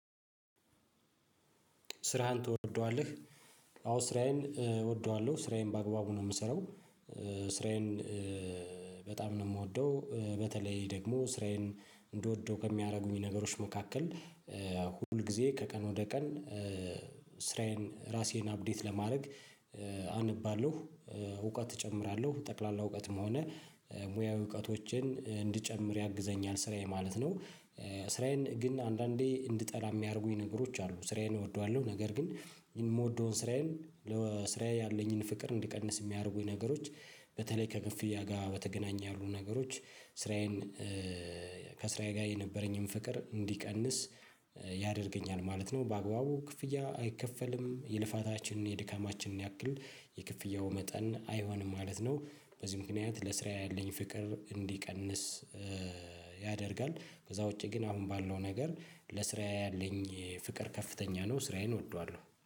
ስራህን ትወደዋለህ? አዎ ስራዬን እወደዋለሁ ስራዬን በአግባቡ ነው የምሰራው። ስራዬን በጣም ነው የምወደው በተለይ ደግሞ ስራዬን እንደወደው ከሚያደርጉኝ ነገሮች መካከል። ሁል ጊዜ ከቀን ወደ ቀን ስራዬን ራሴን አፕዴት ለማድረግ አነባለሁ። እውቀት እጨምራለሁ ጠቅላላ እውቀትም ሆነ ሙያው እውቀቶችን እንድጨምር ያግዘኛል ስራዬ ማለት ነው። ስራዬን ግን አንዳንዴ እንድጠላ የሚያደርጉኝ ነገሮች አሉ። ስራዬን እወደዋለሁ ነገር ግን የምወደውን ስራዬን ስራዬ ያለኝን ፍቅር እንዲቀንስ የሚያደርጉኝ ነገሮች። በተለይ ከ ከፍያ ጋር በተገናኘ ያሉ ነገሮች ስራዬን ከስራዬ ጋር የነበረኝን ፍቅር እንዲቀንስ ያደርገኛል ማለት ነው። በአግባቡ ክፍያ አይከፈልም የልፋታችንን የድካማችንን ያክል የክፍያው መጠን አይሆንም ማለት ነው። በዚህ ምክንያት ለስራ ያለኝ ፍቅር እንዲቀንስ ያደርጋል። ከዛ ውጪ ግን አሁን ባለው ነገር ለስራዬ ያለኝ ፍቅር ከፍተኛ ነው። ስራዬን እወደዋለሁ